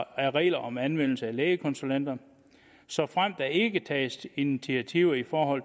af regler om anvendelse af lægekonsulenter såfremt der ikke tages initiativer i forhold